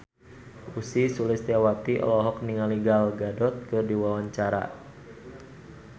Ussy Sulistyawati olohok ningali Gal Gadot keur diwawancara